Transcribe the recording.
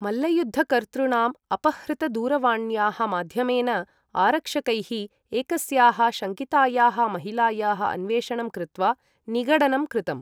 मल्लयुद्धकर्तृणां अपहृतदूरवाण्याः माध्यमेन आरक्षकैः एकस्याः शङ्कितायाः महिलायाः अन्वेषणं कृत्वा निगडनं कृतम्।